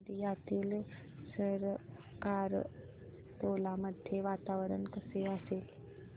गोंदियातील सरकारटोला मध्ये वातावरण कसे असेल